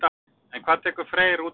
En hvað tekur Freyr út úr mótinu?